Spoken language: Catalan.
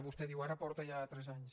vostè diu ara porta ja tres anys